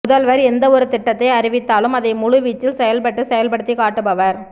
முதல்வா் எந்த ஒரு திட்டத்தை அறிவித்தாலும் அதை முழு வீச்சில் செயல்பட்டு செயல்படுத்திக் காட்டுபவா்